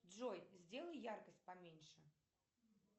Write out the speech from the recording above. джой сделай яркость поменьше